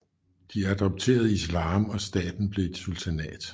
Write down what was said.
De adopterede islam og staten blev et sultanat